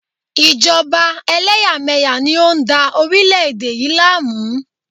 Ìjọba eléyàméyà ni o n dá orílẹ̀ èdè yi láàmú